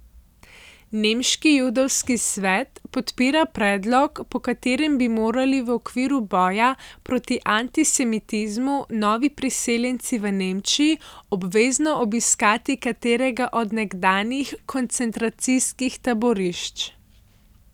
Nemški judovski svet podpira predlog, po katerem bi morali v okviru boja proti antisemitizmu novi priseljenci v Nemčiji obvezno obiskati katerega od nekdanjih koncentracijskih taborišč.